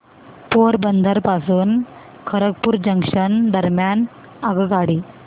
पोरबंदर पासून खरगपूर जंक्शन दरम्यान आगगाडी